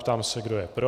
Ptám se, kdo je pro.